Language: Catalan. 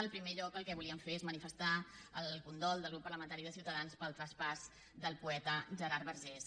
en primer lloc el que volíem fer és manifestar el condol del grup parlamentari de ciutadans pel traspàs del poeta gerard vergés